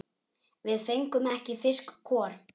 Við fengum einn fisk hvor.